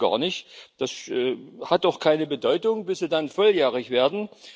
Das wissen die gar nicht. Das hat auch keine Bedeutung, bis Sie dann volljährig werden.